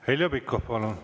Heljo Pikhof, palun!